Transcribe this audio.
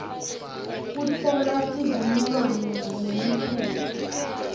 kutfola sivumelwano ngemitsetfo